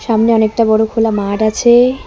সামনে অনেকটা বড়ো খোলা মাড আছে।